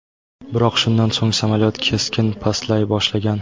Biroq shundan so‘ng samolyot keskin pastlay boshlagan.